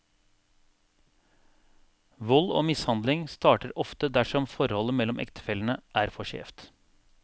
Vold og mishandling starter ofte dersom forholdet mellom ektefellene er for skjevt.